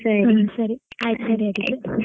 ಹಾ ಸರಿ ಆಯ್ತ್ ಸರಿ ಆಗಿದ್ರೆ.